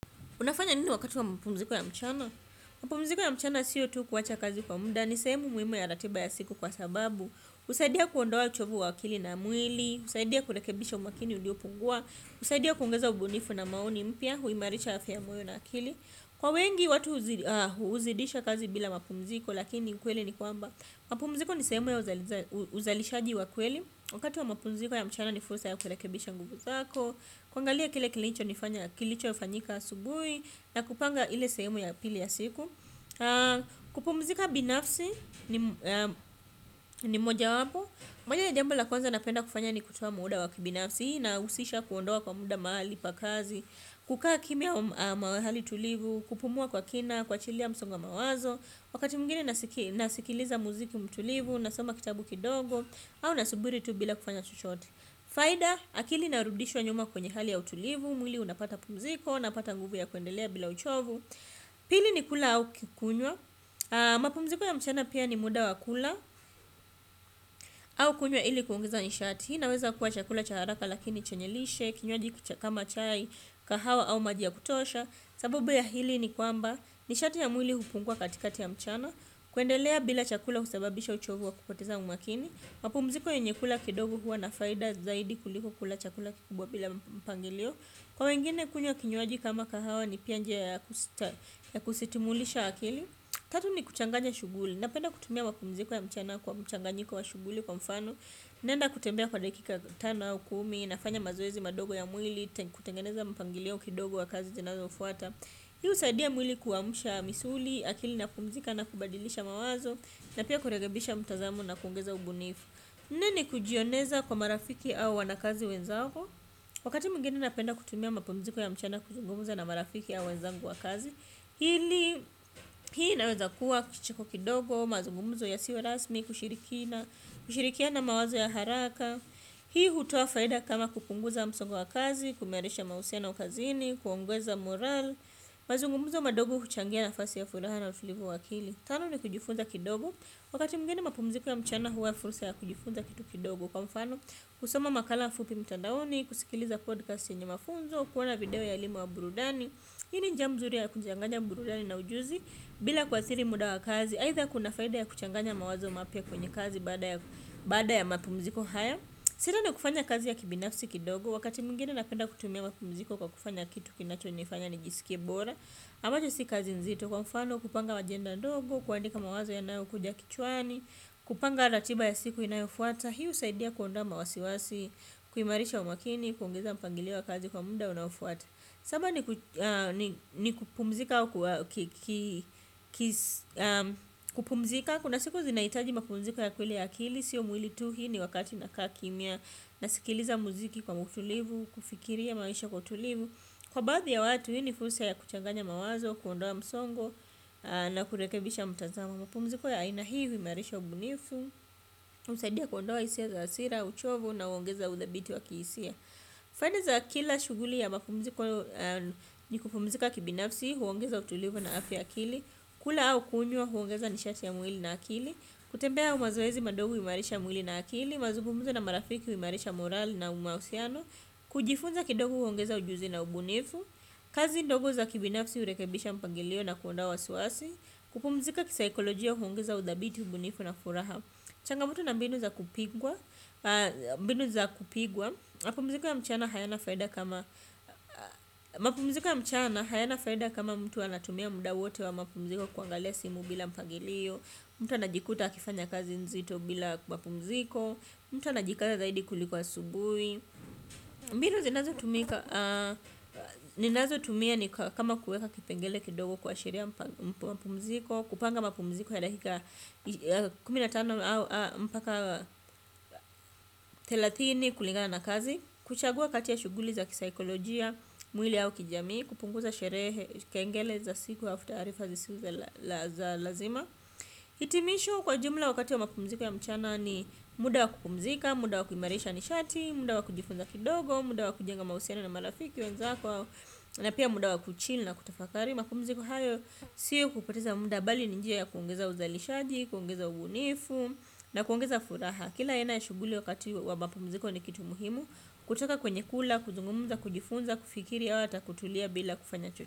Unafanya nini wakati wa mpumziko ya mchana? Mapumziko ya mchana sio tu kuwacha kazi kwa muda. Nisehemu muhimu ya ratiba ya siku kwa sababu. Husaidia kuondoa uchovu wa akili na mwili. Husaidia kurekebisha umakini uliopungua. Husaidia kuongeza ubunifu na maoni mpya. Huimarisha afya ya moyo na akili. Kwa wengi watu huzidisha kazi bila mapumziko lakini ukweli ni kwamba. Mapumziko nisehemu ya uzalishaji wa kweli. Wakati wa mapumziko ya mchana ni fursa ya kurekebisha nguvu zako. Kuangalia kile kilicho fanyika asubuhi, na kupanga ile sehemu ya pili ya siku. Kupumzika binafsi ni mojawapo, moja ya jambo la kwanza napenda kufanya ni kutoa muda wa kibinafsi. Na husisha kuondoa kwa muda mahali pakazi. Kukaa kimya mahali tulivu, kupumua kwa kina, kuachilia msongo wa mawazo. Wakati mwingine naskiliza muziki mtulivu, nasoma kitabu kidogo au nasubiri tu bila kufanya chochote. Faida, akili inarudishwa nyuma kwenye hali ya utulivu, mwili unapata pumziko unapata nguvu ya kuendelea bila uchovu. Pili ni kula au kukunywa. Mapumziko ya mchana pia ni muda wa kula au kunywa ili kuongeza nishat. Hii inaweza kuwa chakula cha haraka lakini chenye lishe. Kinywaji kama chai, kahawa au maji ya kutosha, sababu ya hili ni kwamba, nishati ya mwili hupungua katikati ya mchana, kuendelea bila chakula husababisha uchovu wa kupoteza umakini, mapumziko yenye kula kidogo huwa na faida zaidi kuliko kula chakula kikubwa bila mpangilio. Kwa wengine kunywa kinywaji kama kahawa ni pia njia ya kusitimulisha akili. Tatu ni kuchanganya shughuli, napenda kutumia mapumziko ya mchana kwa mchanganyiko wa shughuli kwa mfano, naenda kutembea kwa dakika tano au kumi, nafanya mazoezi madogo ya mwili, kutengeneza mpangilio kidogo wa kazi zinazofuata. Hii husadia mwili kuamsha misuli, akili na kupumzika na kubadilisha mawazo, na pia kurekebisha mtazamo na kuongeza ubunifu. Nne ni kujioneza kwa marafiki au wanakazi wenzako? Wakati mwingine napenda kutumia mapumziko ya mchana kuzungumza na marafiki au wenzangu wa kazi. Pili, hii inaweza kuwa kicheko kidogo, mazungumzo yasio rasmi, kushirikiana mawazo ya haraka. Hii hutoa faida kama kupunguza msongo wa kazi, kuimarisha mahusiano kazini, kuongeza morale. Mazungumzo madogo huchangia nafasi ya furaha na utulivu wa akili. Tano ni kujifunza kidogo. Wakati mwingine mapumziko ya mchana huwa fursa ya kujifunza kitu kidogo, kwa mfano, kusoma makala fupi mtandaoni, kusikiliza podcast yenye mafunzo, kuona video ya elimu ya burudani. Hii ni njia mzuri ya kuchanganya burudani na ujuzi bila kuathiri muda wa kazi aitha kuna faida ya kuchanganya mawazo mapya kwenye kazi baada ya mapumziko haya. Shida na kufanya kazi ya kibinafsi kidogo wakati mwingine napenda kutumia mapumziko kwa kufanya kitu kinachonifanya nijisikie bora ambacho si kazi nzito kwa mfano kupanga ajenda ndogo, kuandika mawazo yanayo kuja kichwani. Kupanga ratiba ya siku inayofuata hii husaidia kuondoa wasiwasi, kuimarisha umakini, kuongeza mpangilio wa kazi wa muda unaofuata, kupumzika kuna siku zinaitaji mapumziko ya kweli ya akili. Sio mwili tu. Hii ni wakati nakaa kimya. Nasikiliza muziki kwa utulivu, kufikiria maisha kwa utulivu. Kwa baadhi ya watu hii ni fursa ya kuchanganya mawazo, kuondoa msongo na kurekebisha mtazamo. Mapumziko ya aina hii huimarisha ubunifu, husaidia kuondoa hisia za hasira, uchovu na huongeza uthabiti wa kihisia. Faida za kila shughuli ya mapumziko ni kupumzika kibinafsi, huongeza utulivu na afya ya akili. Kula au kunywa huongeza nishati ya mwili na akili. Kutembea au mazoezi madogo huimarisha mwili na akili. Mazungumzo na marafiki, huimarisha morale na mahusiano. Kujifunza kidogo huongeza ujuzi na ubunifu. Kazi ndogo za kibinafsi hurekibisha mpangilio na kuondoa wasiwasi. Kupumzika kisaikolojia huongeza udhabiti ubunifu na furaha. Changa moto na mbinu za kupigwa. Mapumziko ya mchana hayana mapumziko ya mchana hayana faida kama mtu anatumia muda wote wa mapumziko kuangalia simu bila mpangilio. Mtu anajikuta akifanya kazi nzito bila mapumziko. Mtu anajikaza zaidi kuliko asubuhi. Mbinu zinazotumika zinazo tumia ni kama kuweka kipengele kidogo kuashiria mapumziko. Kupanga mpumziko ya lakika kumi na tano mpaka thelathini kulingana na kazi. Kuchagua kati ya shughuli za kisaikolojia, mwili au kijamii. Kupunguza sherehe, kengele za siku alafu taarifa zisizo za lazima hitimisho kwa jumla wakati ya mapumziko ya mchana ni muda wa kupumzika. Muda wa kuimarisha nishati, muda wa kujifunza kidogo muda wa kujenga mahusiana na marafiki wenzako na pia muda wa kuchill na kutafakari mapumziko hayo siyo kupoteza muda bali ni njia ya kuongeza uzalishaji kuongeza ubunifu na kuongeza furaha kila aina ya shughuli wakati wa mapumuziko ni kitu muhimu kutoka kwenye kula, kuzungumza, kujifunza kufikiri au hata kutulia bila kufanya chocho.